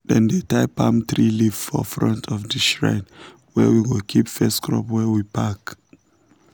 dem tie palm tree leaf for front of the shrine where we go keep first crop wey we pack.